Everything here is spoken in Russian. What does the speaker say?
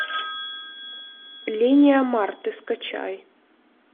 линия марты скачай